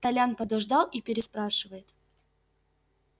толян подождал и переспрашивает